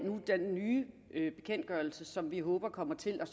den nye bekendtgørelse som vi håber kommer til at